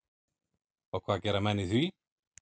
Og hvað gera menn í því?